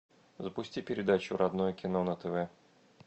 запусти передачу родное кино на тв